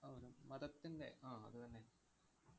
മതത്തിന്‍റെ ആഹ് അത് തന്നെ അഹ്